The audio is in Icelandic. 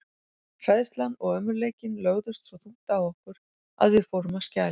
Hræðslan og ömurleikinn lögðust svo þungt á okkur, að við fórum að skæla.